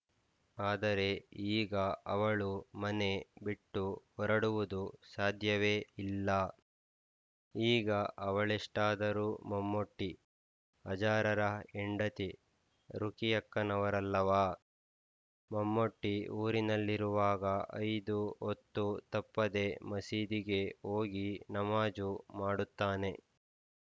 ಆದರೆ ಈಗ ಅವಳು ಮನೆ ಬಿಟ್ಟು ಹೊರಡುವುದು ಸಾಧ್ಯವೇ ಇಲ್ಲ ಈಗ ಅವಳೆಷ್ಟಾದರೂ ಮಮ್ಮೂಟಿ ಹಾಜಾರರ ಹೆಂಡತಿ ರುಖಿಯಕ್ಕನವರಲ್ಲವಾ ಮಮ್ಮೂಟಿ ಊರಲ್ಲಿರುವಾಗ ಐದು ಹೊತ್ತೂ ತಪ್ಪದೆ ಮಸೀದಿಗೆ ಹೋಗಿ ನಮಾಜು ಮಾಡುತ್ತಾನೆ